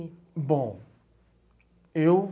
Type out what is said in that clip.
Bom, eu...